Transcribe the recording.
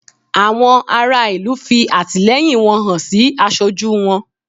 Àwọn ará ìlú fi àtìlẹyìn wọn hàn sí aṣojú wọn